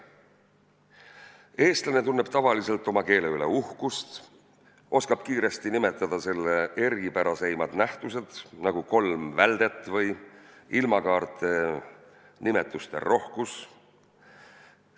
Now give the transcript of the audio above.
Eestlane tunneb tavaliselt oma keele üle uhkust, oskab kiiresti nimetada selle eripärasemaid nähtusi, nagu kolm väldet või ilmakaarte nimetuste rohkus.